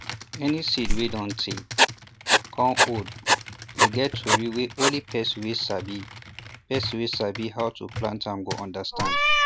any seed wey dun tay cun old dey get tory wey only person wey sabi person wey sabi how to plant go understand